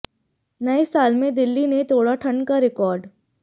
नए साल में दिल्ली ने तोड़ा ठंड का रिकॉर्ड